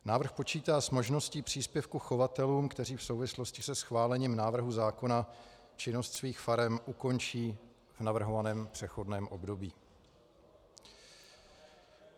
Návrh počítá s možností příspěvku chovatelům, kteří v souvislosti se schválením návrhu zákona činnost svých farem ukončí v navrhovaném přechodném období.